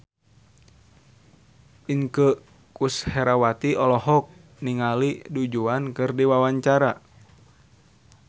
Inneke Koesherawati olohok ningali Du Juan keur diwawancara